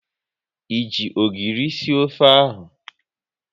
Ị ji ogiri sie ofe ahụ?